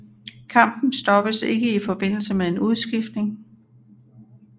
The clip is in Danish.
Kampen stoppes ikke i forbindelse med en udskiftning